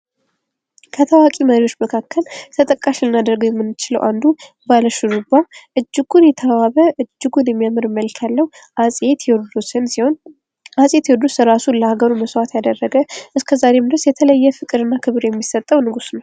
ከታዋቂ መሪዎች መካከል ተጠቃሽ ልናደርገው የምንችለው አንዱ ባለሹሩባ እጅጉን የተዋበ እጅጉን የሚያምር መልክ ያለው አፄ ቴዎድሮስን ሲሆን አፄ ቴዎድሮስ ራሱን ለሃገሩ መሰዋት ያደረገ እስከ ዛሬም ድረስ የተለየ ፍቅርና ክብር የሚሰጠው ንጉስ ነው።